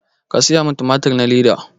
Ka saya min tumatur na leda